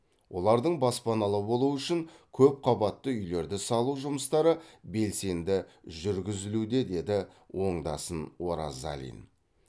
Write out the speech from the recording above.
олардың баспаналы болуы үшін көп қабатты үйлерді салу жұмыстары белсенді жүргізілуде деді оңдасын оразалин